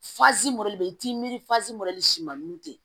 bɛ i t'i miiri siman nun te